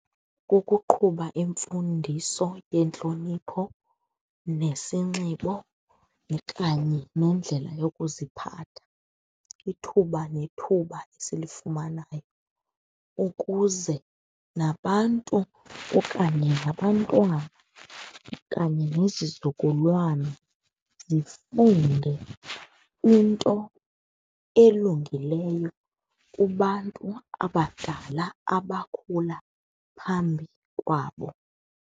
Kukuqhuba imfundiso yentlonipho nesinxibo kanye nendlela yokuziphatha, ithuba nethuba esilifumanayo, ukuze nabantu okanye nabantwana okanye nezizukulwana zifunde into elungileyo kubantu abadala abakhula phambi kwabo.